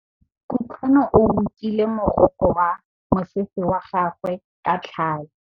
Kutlwanô o rokile morokô wa mosese wa gagwe ka tlhale.